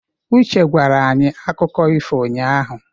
Uche gwara anyị akụkọ ifo ụnyahụ.